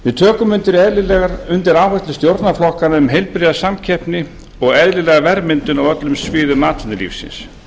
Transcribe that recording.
við tökum undir áherslur stjórnarflokkanna um heilbrigða samkeppni og eðlilega verðmyndun á öllum sviðum atvinnulífsins